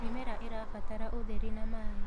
mĩmera irabatara ũtheri na maĩ